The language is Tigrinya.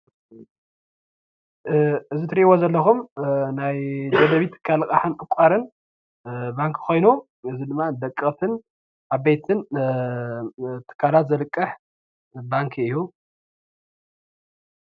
እዚ እትርእዎ ዘለኩም ናይ ደደቢት ትካል ልቃሕን ዕቋርን ባንኪ ኮይኑ ደቀቅትን ዓበይትን ትካላት ዘልቅሕ ባንኪ እዩ።